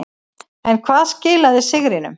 En hvað skilaði sigrinum.